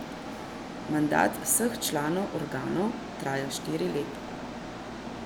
Mandat vseh članov organov traja štiri leta.